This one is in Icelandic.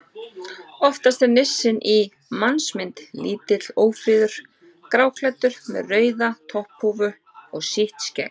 Oftast er nissinn í mannsmynd: Lítill, ófríður, gráklæddur með rauða topphúfu og sítt skegg.